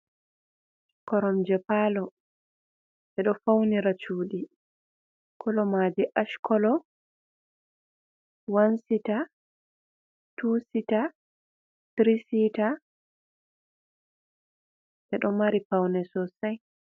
Koromje palo, ɓe ɗo faunira chuɗi, kolo maji ash kolo wan sita, tu sita, tiri siita, ɓeɗo mari paune sosai.